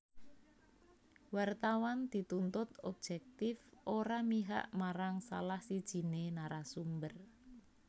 Wartawan dituntut objektif ora mihak marang salah sijiné narasumber